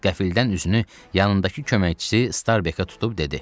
Qəfildən üzünü yanındakı köməkçisi Starbekə tutub dedi: